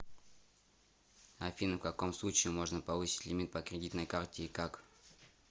афина в каком случае можно повысить лимит по кредитной карте и как